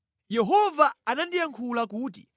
Yehova anandiyankhula kuti: